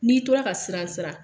N'i tora ka siran siran